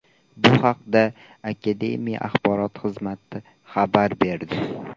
Bu haqida akademiya axborot xizmati xabar berdi .